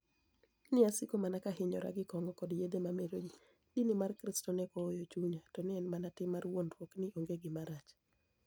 ni e asiko mania ka ahiyora gi konig'o koda yedhe mameroji. Dini mar kristo ni e hok ohoyo chuniya, to ni e eni mania tim mar wuonidruok nii onige gima rach.